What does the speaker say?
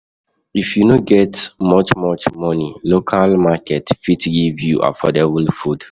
If you no get much much money, local market fit give you affordable food.